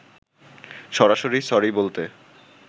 সরাসরি সরি বলতে